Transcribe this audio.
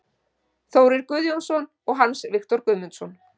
Þórir Guðjónsson og Hans Viktor Guðmundsson